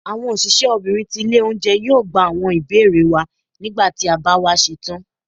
awọn osìsé obinrín tí ilé oúnjẹ, yóò gbá awọn ibere wa, nígbàtí ti a ba wa setán.